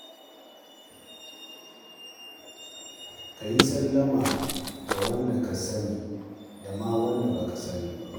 Ka yi sallama ga wanda ka sani da ma wanda ba ka sani ba.